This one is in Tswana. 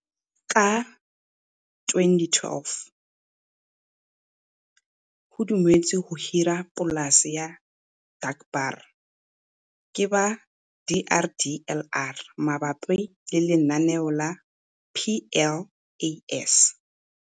Ka 2012, o dumetswe go hira polase ya Dankbaar, ke ba DRDLR mabapi le lenaneo la PLAS.